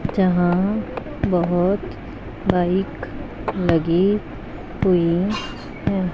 जहां बहुत बाइक लगी हुई है।